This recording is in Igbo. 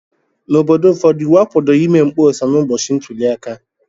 N'obodo ụfọdụ, iwu akwadoghị ịme mkpọsa n'ụbọchị ntuli aka.